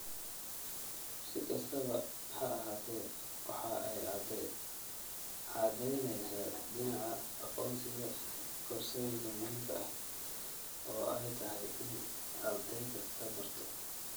Si kastaba ha ahaatee waxa ay caddaynaysaa dhinaca aqoonsiga koorsooyinka muhiimka ah oo ay tahay in arday kastaa barto.